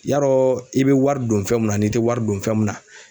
Yarɔɔ i be wari don fɛn mun na an'i te wari don fɛn mun na